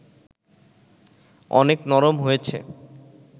অনেক নরম হয়েছে